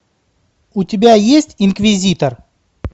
у тебя есть инквизитор